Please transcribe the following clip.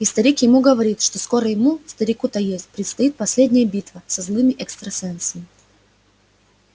и старик ему говорит что скоро ему старику то есть предстоит последняя битва со злыми экстрасенсами